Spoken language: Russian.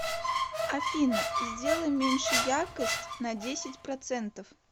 афина сделай меньше яркость на десять процентов